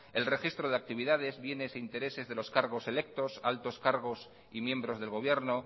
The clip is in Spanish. el registro de actividades bienes e intereses de los cargos electos altos cargos y miembros del gobierno